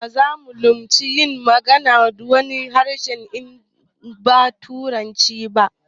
Baza mu lamunci yin magana da wani harshe in ba turanci ba